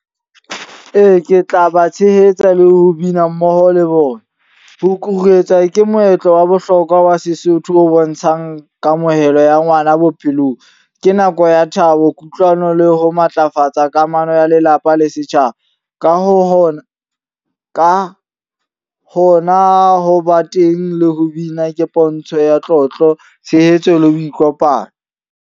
Ee, ke tla ba tshehetsa le ho bina mmoho le bona. Ho kuruetswa ke moetlo wa bohlokwa wa Sesotho o bontshang kamohelo ya ngwana bophelong. Ke nako ya thabo, kutlwano le ho matlafatsa kamano ya lelapa le setjhaba. Ka hona ho ba teng le ho bina ke pontsho ya tlotlo, tshehetso le ho ikopanya.